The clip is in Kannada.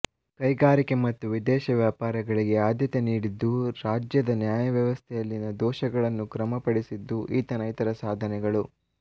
ಕೈಗಾರಿಕೆ ಮತ್ತು ವಿದೇಶ ವ್ಯಾಪಾರಗಳಿಗೆ ಆದ್ಯತೆ ನೀಡಿದ್ದೂ ರಾಜ್ಯದ ನ್ಯಾಯ ವ್ಯವಸ್ಥೆಯಲ್ಲಿನ ದೋಷಗಳನ್ನು ಕ್ರಮಪಡಿಸಿದ್ದೂ ಈತನ ಇತರ ಸಾಧನೆಗಳು